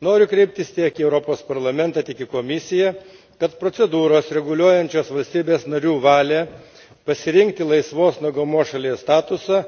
Noriu kreiptis tiek į Europos Parlamentą, tiek į Komisiją, kad procedūros, reguliuojančios valstybių narių valią pasirinkti laisvos nuo GMO šalies statusą